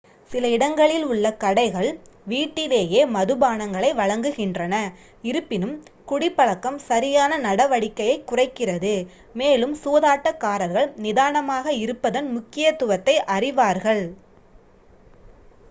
சில இடங்களில் உள்ள கடைகள் வீட்டிலேயே மதுபானங்களை வழங்குகின்றன இருப்பினும் குடிப்பழக்கம் சரியான நடவடிக்கையைக் குறைக்கிறது மேலும் சூதாட்டக்காரர்கள் நிதானமாக இருப்பதன் முக்கியத்துவத்தை அறிவார்கள்